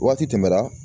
Waati tɛmɛna